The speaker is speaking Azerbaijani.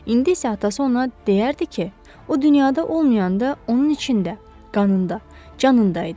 İndi isə atası ona deyərdi ki, o dünyada olmayanda onun içində, qanında, canında idi.